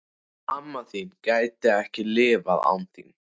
Amma þín gæti ekki lifað án þín.